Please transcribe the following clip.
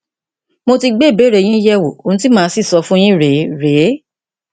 mo ti gbé ìbéèrè yín yẹwò ohun tí màá sì sọ fún yín rèé rèé